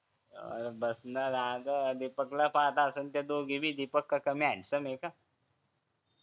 अं बस ना दादा दीपक ला पाहत असतील दोघी दीपक कडे काही कमी आहे का